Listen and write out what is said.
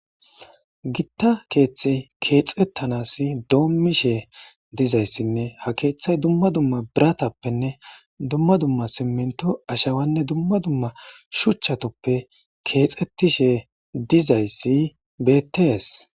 gitta keeththe keexettanasi doommishe dizayssinne ha keeththay dumma dumma biratappenne dumma dumma simento ashawanne dumma dumma shuchchatluppe keexettishe dizayssi bettees